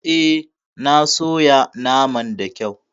Eh, na soya naman da kyau.